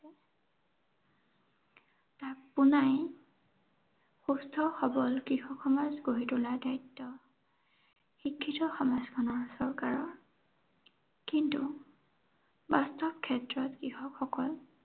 পোনাই সুস্থ সৱল কৃষক সমাজ গঢ়ি তোলাৰ দায়িত্ব। শিক্ষিত সমাজখনৰ চৰকাৰৰ কিন্তু বাস্তুৱ ক্ষেত্ৰত কৃষকসকল